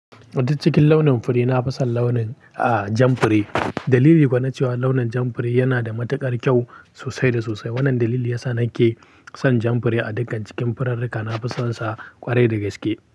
Kuma duk cikin launin fure, na fi son launin, ah, jan fure. Dalili kuwa na cewa launin jan fure yana da matuƙar kyau sosai da sosai. Wannan dalili yasa na ke son jan fure a dukkan cikin furarrika. Na fi son sa ƙwarai da gaske.